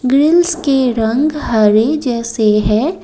Grills के रंग हरे जैसे है।